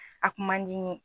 A kun man di n ye.